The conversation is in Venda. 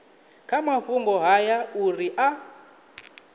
kha mafhungo haya uri a